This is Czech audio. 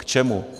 K čemu?